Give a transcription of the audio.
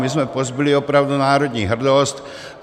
My jsme pozbyli opravdu národní hrdost.